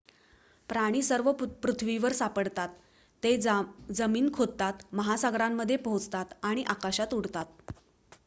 प्राणी सर्व पृथ्वीवर सापडतात ते जमीन खोदतात महासागरांमध्ये पोहोतात आणि आकाशात उडतात